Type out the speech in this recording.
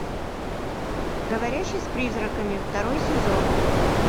говорящий с призраками второй сезон